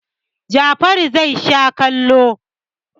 Jafaru zai share allo.